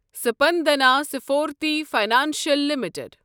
Spandana Sphoorty financial limited